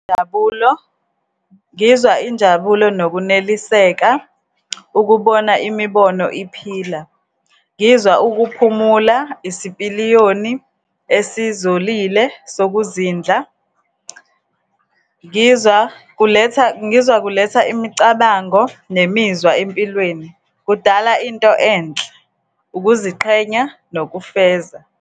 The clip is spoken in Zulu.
Njabulo, ngizwa injabulo nokuneliseka, ukubona imibono iphila, ngizwa ukuphumula, isipiliyoni esizolile sokuzindla, ngizwa kuletha, ngizwa kuletha imicabango nemizwa empilweni. Kudala into enhle, ukuziqhenya nokufeza.